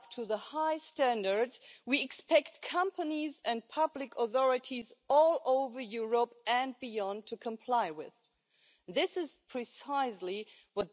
digital era, and this House stands ready and the SD Group stands ready to add the missing piece to this protective